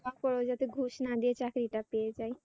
তারপরে যেন ঘুষ না দিয়ে চাকরিটা পেয়ে যাই।